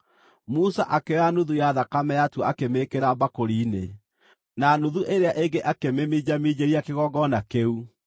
Musa akĩoya nuthu ya thakame yatuo akĩmĩĩkĩra mbakũri-inĩ, na nuthu ĩrĩa ĩngĩ akĩmĩminjaminjĩria kĩgongona kĩu.